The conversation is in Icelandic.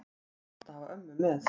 Þá var gott að hafa ömmu með.